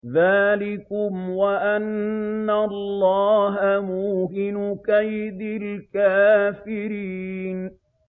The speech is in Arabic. ذَٰلِكُمْ وَأَنَّ اللَّهَ مُوهِنُ كَيْدِ الْكَافِرِينَ